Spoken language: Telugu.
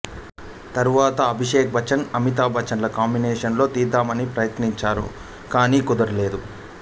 తర్వాత అభిషేక్ బచ్చన్ అమితాబ్ బచ్చన్ ల కాంబినేషన్లో తీద్దామనీ ప్రయత్నించారు కానీ కుదరలేదు